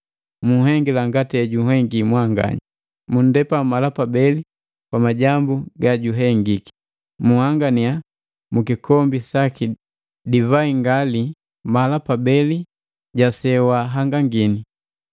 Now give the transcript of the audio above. Munhengila ngati hejunhengi mwanganya, munndepa mala pabeli kwa majambu ga juhengiki. Munhangania mukikombi saki divai ngali mala pabeli ja sejwahangangini.